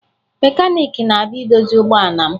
Mekaniiki na-abịa idozi ụgbọala m